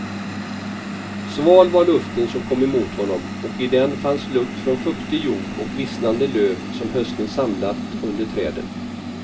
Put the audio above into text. Sval var luften som kom emot honom och i den fanns lukt från fuktig jord och vissnade löv som hösten samlat under träden.